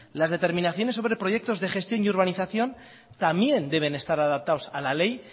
las determinaciones sobre proyectos de gestión y urbanización también deben de estar adaptados a la ley